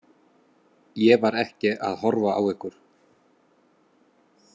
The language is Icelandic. Ég var ekki að horfa á ykkur.